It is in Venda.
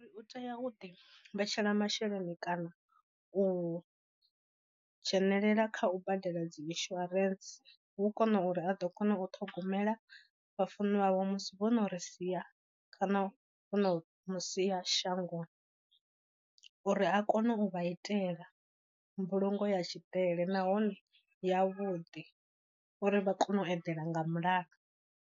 U tea u ḓi vhetshela masheleni kana u dzhenelela kha u badela dzi insurance hu kona uri a ḓo kona u ṱhogomela vha funwa wavho musi vho no ri sia kana vhono musia shangoni. Uri a kone u vha itela mbulungo ya tshidele nahone yavhuḓi uri vha kone u eḓela nga mulalo.